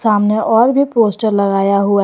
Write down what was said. सामने और भी पोस्टर लगाया हुआ--